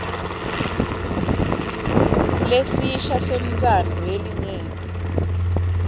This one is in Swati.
lesisha sentsandvo yelinyenti